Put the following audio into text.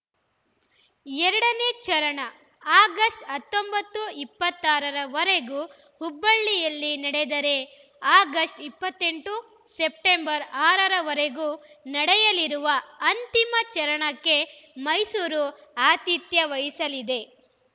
ಎರಡು ನೇ ಚರಣ ಆಗಸ್ಟ್ ಹತ್ತೊಂಬತ್ತು ಇಪ್ಪತ್ತ್ ಆರ ರ ವರೆಗೂ ಹುಬ್ಬಳ್ಳಿಯಲ್ಲಿ ನಡೆದರೆ ಆಗಸ್ಟ್ ಇಪ್ಪತ್ತ್ ಎಂಟು ಸೆಪ್ಟೆಂಬರ್ ಆರ ರ ವರೆಗೂ ನಡೆಯಲಿರುವ ಅಂತಿಮ ಚರಣಕ್ಕೆ ಮೈಸೂರು ಆತಿಥ್ಯ ವಹಿಸಲಿದೆ